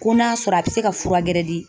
Ko n'a sɔrɔ a bɛ se ka fura gɛrɛ di